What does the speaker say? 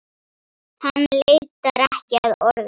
Hann leitar ekki að orðum.